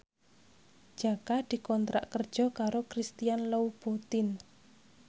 Jaka dikontrak kerja karo Christian Louboutin